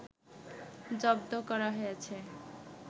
জব্দ করা হয়েছে